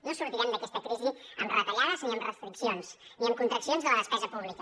no sortirem d’aquesta crisi amb retallades ni amb restriccions ni amb contraccions de la despesa pública